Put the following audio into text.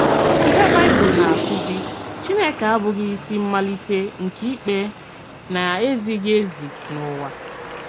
Íhè Baịbụl na-akụ́zì: Chínèkè àbụ́ghì ìsì m̀malítè nke ìkpè na-èzíghì-èzí n’ùwà.